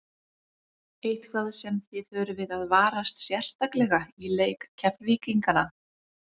Eitthvað sem að þið þurfið að varast sérstaklega í leik Keflvíkingana?